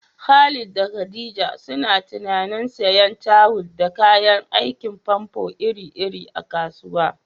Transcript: Khalid da Khadija suna tunanin siyan tayal da kayan aikin famfo iri-iri a kasuwa.